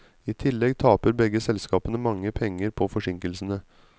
I tillegg taper begge selskapene mange penger på forsinkelsene.